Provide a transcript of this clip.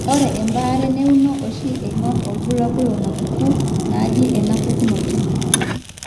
ore embaare neuno oshi eing'or irbulabul onaapuku naaje enapukunoto.